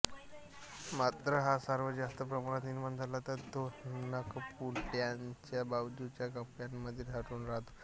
मात्र हा स्राव जास्त प्रमाणात निर्माण झाला तर तो नाकपुडयांच्या बाजूच्या कप्प्यांमध्ये साठून राहतो